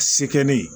Se kɛ ne ye